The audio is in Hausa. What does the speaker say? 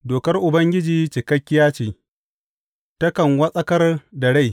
Dokar Ubangiji cikakkiya ce, takan wartsakar da rai.